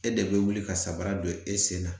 E de bɛ wuli ka samara don e sen na